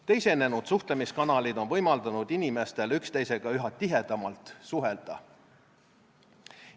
Teisenenud suhtlemiskanalid on võimaldanud inimestel üksteisega üha tihedamalt suhelda.